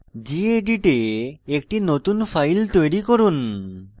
gedit a একটি নতুন file তৈরি করুন